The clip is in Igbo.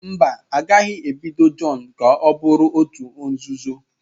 Mba, a gaghị ebido John ka ọ bụrụ òtù nzuzo.